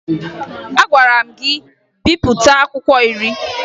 Agwara m gị bipụta akwụkwọ iri!